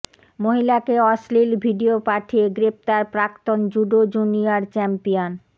মহিলাকে অশ্লীল ভিডিও পাঠিয়ে গ্রেফতার প্রাক্তন জুডো জুনিয়র চ্যাম্পিয়ন